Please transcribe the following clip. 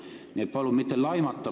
Nii et palun mitte laimata!